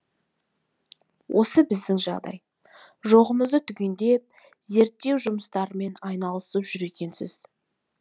осы біздің жағдай жоғымызды түгендеп зерттеу жұмыстарымен айналысып жүр екенсіз